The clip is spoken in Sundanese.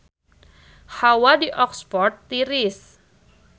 Hawa di Oxford tiris